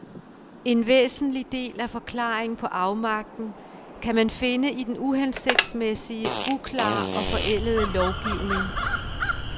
En væsentlig del af forklaringen på afmagten kan man finde i den uhensigtsmæssige, uklare og forældede lovgivning.